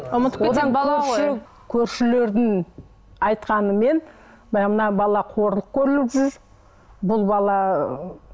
көршілердің айтқанымен баяғы мына бала қорлық көріп жүр бұл бала ы